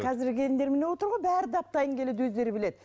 қазіргі келіндер міне отыр ғой бәрі дап дайын келеді өздері біледі